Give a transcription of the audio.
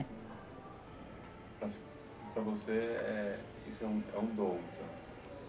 Para para você é, isso é um é um dom